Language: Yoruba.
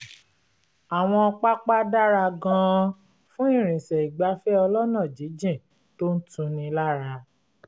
àwọn pápá dára gan-an fún ìrìnsẹ̀ ìgbafẹ́ ọlọ́nà jínjìn tó ń tuni lára